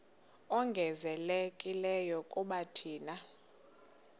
ongezelelekileyo kuba thina